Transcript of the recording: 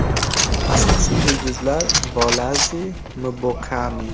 Asosiy yulduzlar – Bolazi, Mbokani.